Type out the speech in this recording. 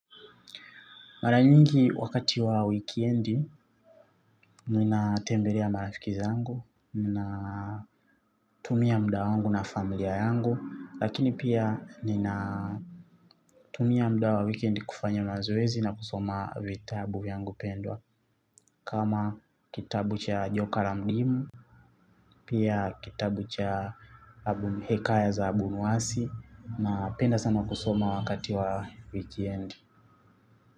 Mara nyingi wakati wa wikendi ninatembelea marafiki zangu ninatumia muda wangu na familia yangu lakini pia nina tumia muda wa wikendi kufanya mazoezi na kusoma vitabu vyangu pendwa kama kitabu cha joka la mdimu pia kitabu cha hekaya za abunwasi. Napenda sana kusoma wakati wa wikendi.